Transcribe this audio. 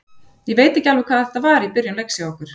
Ég veit alveg hvað þetta var í byrjun leiks hjá okkur.